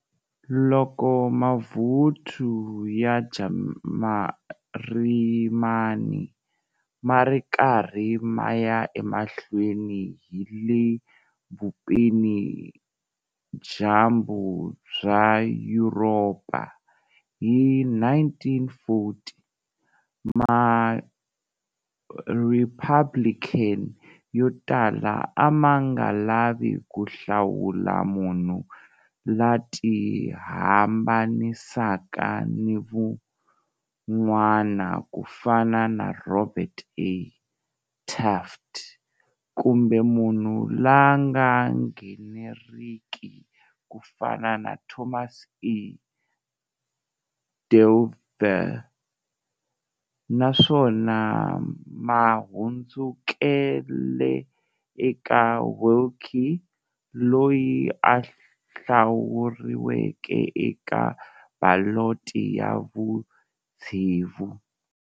Loko mavuthu ya Jarimani ma ri karhi ma ya emahlweni hi le vupela-dyambu bya Yuropa hi 1940, MaRepublican yo tala a ma nga lavi ku hlawula munhu la tihambanisaka ni van'wana ku fana na Robert A. Taft, kumbe munhu la nga ngheneriki ku fana na Thomas E. Dewey, naswona ma hundzukele eka Willkie, loyi a hlawuriweke eka baloti ya vutsevu.